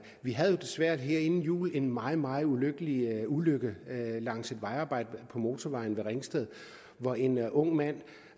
vi havde desværre her inden jul en meget meget ulykkelig ulykke langs et vejarbejde på motorvejen ved ringsted hvor en ung mand